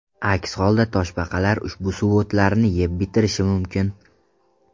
Aks holda toshbaqalar ushbu suvo‘tlarni yeb bitirishi mumkin.